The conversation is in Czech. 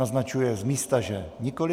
Naznačuje z místa, že nikoliv.